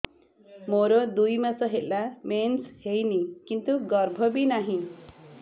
ମୋର ଦୁଇ ମାସ ହେଲା ମେନ୍ସ ହେଇନି କିନ୍ତୁ ଗର୍ଭ ବି ନାହିଁ